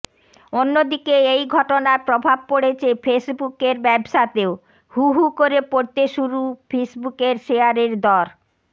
অন্যদিকে এই ঘটনার প্রভাব পড়েছে ফেসবুকের ব্যবসাতেও হু হু করে পড়তে শুরু ফেসবুকের শেয়ারের দর